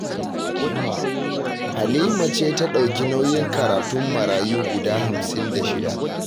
Halima ce ta ɗauki nauyin karatun marayu guda hamsin da shida